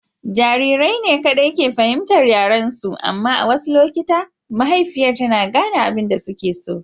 Jarirai ne kaɗai ke fahimtar yaren su. Amma a wasu lokuta mahaifiyar tana gane abin da suke so.